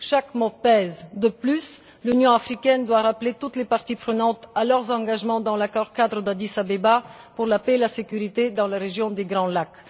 Chaque mot pèse. De plus, l'Union africaine doit rappeler toutes les parties prenantes à leurs engagements dans l'accord cadre d'Addis Abeba pour la paix et la sécurité dans la région des Grands Lacs.